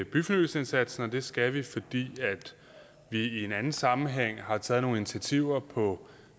byfornyelsesindsatsen og det skal vi fordi vi i en anden sammenhæng har taget nogle initiativer på